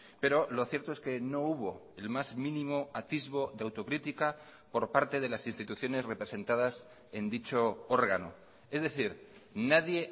pero lo cierto es que no hubo el más mínimo atisbo de autocrítica por parte de las instituciones representadas en dicho órgano es decir nadie